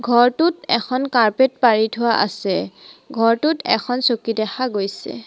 ঘৰটোত এখন কাৰ্পেট পাৰি থোৱা আছে ঘৰটোত এখন চকী দেখা গৈছে।